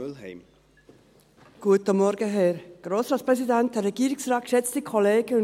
Wir werden dieser Motion mehrheitlich zustimmen.